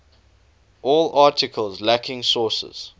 all articles lacking sources